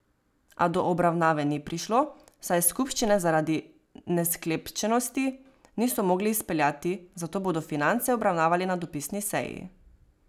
A do obravnave ni prišlo, saj skupščine zaradi nesklepčnosti niso mogli izpeljati, zato bodo finance obravnavali na dopisni seji.